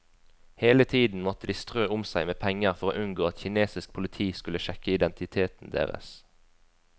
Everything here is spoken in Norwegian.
Hele tiden måtte de strø om seg med penger for å unngå at kinesisk politi skulle sjekke identiteten deres.